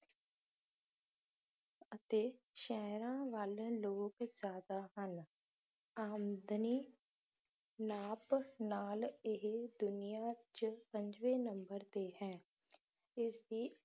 ਅਤੇ ਸ਼ਹਿਰਾਂ ਵੱਲ ਲੋਕ ਜਿਆਦਾ ਹਨ ਆਮਦਨੀ ਨਾਪ ਨਾਲ ਇਹ ਦੁਨੀਆ 'ਚ ਪੰਜਵੇਂ ਨੰਬਰ 'ਤੇ ਹੈ ਇਸਦੀ